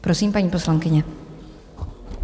Prosím, paní poslankyně.